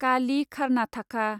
कालि खारनाथाखा